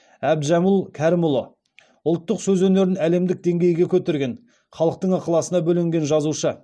әбдіжәміл кәрімұлы ұлттық сөз өнерін әлемдік деңгейге көтерген халықтың ықыласына бөленген жазушы